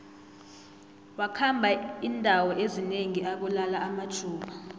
wakhamba indawo ezinengi abulala amajuda